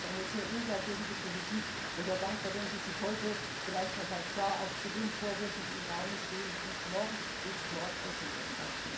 Ich finde das eine sehr unglaubwürdige Politik und wäre sehr dankbar, wenn Sie sich heute vielleicht noch mal klar auch zu den Vorwürfen, die im Raume stehen und Mord ist Mord äußern würden.